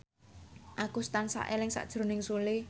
Agus tansah eling sakjroning Sule